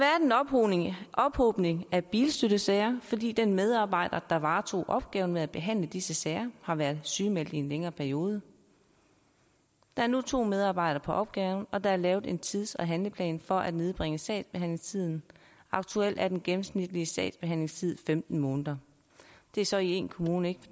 ophobning af bilstøttesager fordi den medarbejder der varetog opgaven med at behandle disse sager har været sygemeldt i en længere periode der er nu to medarbejdere på opgaven og der er lavet en tids og handleplan for at nedbringe sagsbehandlingstiden aktuelt er den gennemsnitlige sagsbehandlingstid femten måneder det er så i én kommune at